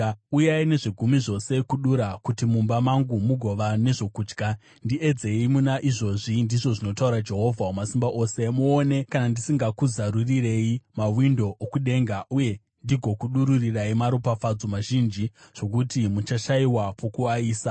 Uyai nezvegumi zvose kudura, kuti mumba mangu mugova nezvokudya. Ndiedzei muna izvozvi,” ndizvo zvinotaura Jehovha Wamasimba Ose, “muone kana ndisingakuzarurirei mawindo okudenga, uye ndigokudururirai maropafadzo mazhinji zvokuti muchashayiwa pokuaisa.